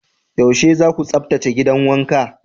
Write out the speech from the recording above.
Yaushe za ku tsaftace gidan wanka?